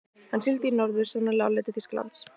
Hann sigldi í norður, sennilega á leið til Þýskalands.